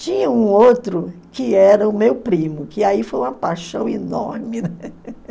Tinha um outro que era o meu primo, que aí foi uma paixão enorme.